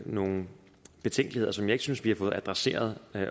nogle betænkeligheder som jeg ikke synes vi har fået adresseret